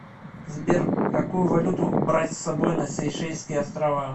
сбер какую валюту брать с собой на сейшельские острова